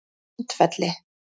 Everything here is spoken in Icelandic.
Sandfelli